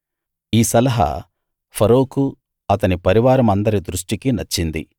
ఈ సలహా ఫరోకూ అతని పరివారమందరి దృష్టికీ నచ్చింది